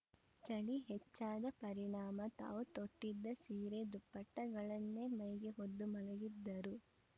ಚಳಿ ಹೆಚ್ಚಾದ ಪರಿಣಾಮ ತಾವು ತೊಟ್ಟಿದ್ದ ಸೀರೆ ದುಪ್ಪಟ್ಟಗಳನ್ನೇ ಮೈಗೆ ಹೊದ್ದು ಮಲಗಿದ್ದರು